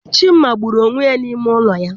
Chima gburu onwe ya n'ime ụlọ ya.